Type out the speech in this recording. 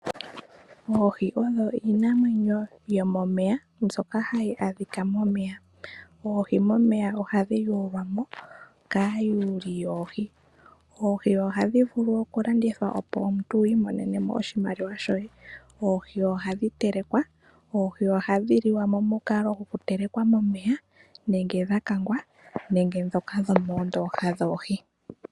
Oohi odho iinamwenyo yomomeya mbyoka hayi adhika momeya. Oohi momeya ohadhi yulwa mo kaa yuli yoohi. Oohi ohadhi vulu oku landithwa, opo omuntu wu imonene mo oshimaliwa shoye. Oohi ohadhi telekwa. Oohi ohadhi liwa momukalo goku telekwa momeya nenge dha kangwa nenge ndhoka dhomoondooha dhoohi.